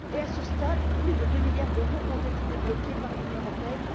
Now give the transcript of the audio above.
À ce stade, plus de deux milliards d'euros ont été débloqués par l'Union européenne.